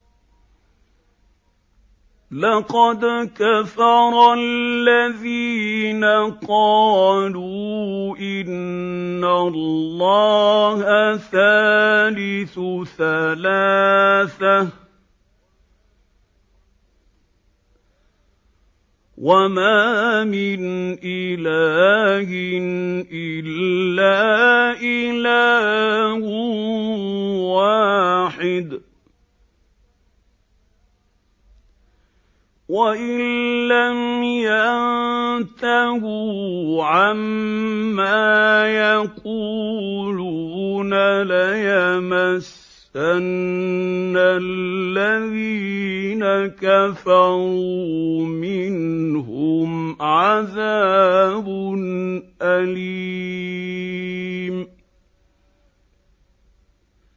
لَّقَدْ كَفَرَ الَّذِينَ قَالُوا إِنَّ اللَّهَ ثَالِثُ ثَلَاثَةٍ ۘ وَمَا مِنْ إِلَٰهٍ إِلَّا إِلَٰهٌ وَاحِدٌ ۚ وَإِن لَّمْ يَنتَهُوا عَمَّا يَقُولُونَ لَيَمَسَّنَّ الَّذِينَ كَفَرُوا مِنْهُمْ عَذَابٌ أَلِيمٌ